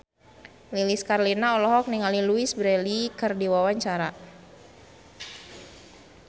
Lilis Karlina olohok ningali Louise Brealey keur diwawancara